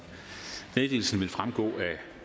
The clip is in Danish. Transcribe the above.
meddelelsen vil fremgå af